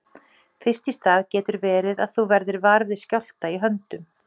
Fyrst í stað getur verið að þú verðir var við skjálfta í höndum.